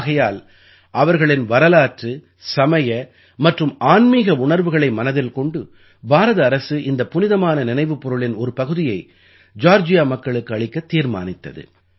ஆகையால் அவர்களின் வரலாற்று சமய மற்றும் ஆன்மீக உணர்வுகளை மனதில் கொண்டு பாரத அரசு இந்தப் புனிதமான நினைவுப் பொருளின் ஒரு பகுதியை ஜார்ஜியா மக்களுக்கு அளிக்கத் தீர்மானித்தது